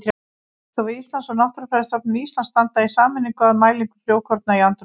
Veðurstofa Íslands og Náttúrufræðistofnun Íslands standa í sameiningu að mælingu frjókorna í andrúmslofti.